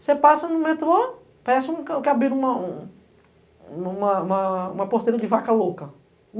Você passa no metrô, parece que abriram uma... uma porteira de vaca louca.